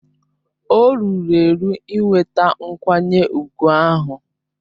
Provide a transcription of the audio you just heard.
O ruru eru inweta nkwanye ùgwù ahụ.